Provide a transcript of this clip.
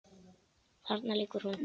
Þarna liggur nú